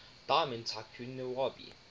diamond tycoon nwabudike